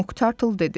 Moq Tartle dedi: